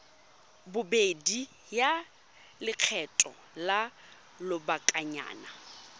bobedi ya lekgetho la lobakanyana